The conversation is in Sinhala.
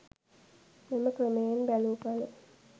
මෙම ක්‍රමයෙන් බැලූ කළ